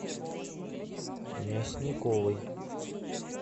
мясниковой